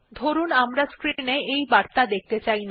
ধরুন আমরা স্ক্রিন এ এই বার্তা দেখতে চাই না